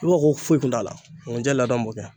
I b'a fɔ ko foyi kun t'a la nkunjɛ ladɔn b'o kɛ.